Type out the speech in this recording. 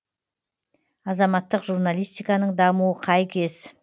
азаматтық журналистиканың дамуы қай кез